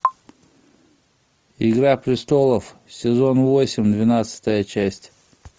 игра престолов сезон восемь двенадцатая часть